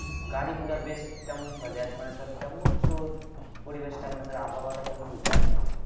গাড়ি-ঘোড়া বেশ কেমন চলে এক মানে তোর কেমন তোর পরিবেশ টা আবহাওয়া টা কেমন বলতে পারবি?